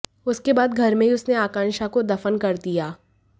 उसके बाद घर में ही उसने आकांक्षा को दफन कर दिया